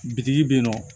Bitigi bɛ yen nɔ